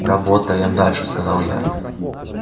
работаем дальше сказал я